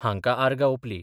हांका आर्गा ओपली.